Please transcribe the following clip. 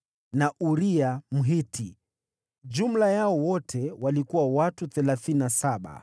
na Uria, Mhiti. Jumla yao wote walikuwa watu thelathini na saba.